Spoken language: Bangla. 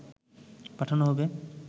পাঠানো হবে